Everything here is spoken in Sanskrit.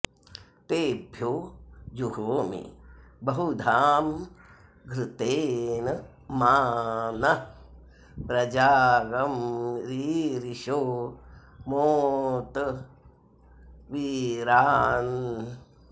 तेभ्यो जुहोमि बहुधा॑ घृते॒न॒ मा॒ नः॒ प्र॒जाग्ं रीरिषो मो॑त वी॒रान्